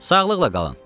"Sağlıqla qalın."